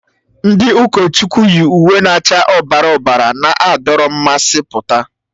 Ndi ụkọchukwu yi uwe na-acha ọbara ọbara na-adọrọ mmasị pụta.